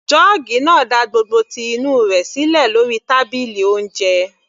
Jọ́ọ́gì náà da gbogbo ti inú rẹ̀ sílẹ̀ lórí tábìlì oúnjẹ.